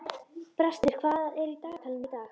Brestir, hvað er í dagatalinu í dag?